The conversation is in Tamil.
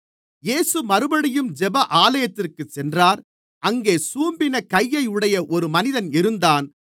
இயேசு மறுபடியும் ஜெப ஆலயத்திற்குச் சென்றார் அங்கே சூம்பின கையையுடைய ஒரு மனிதன் இருந்தான்